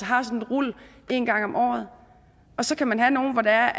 har sådan et rul én gang om året og så kan man have nogle hvor der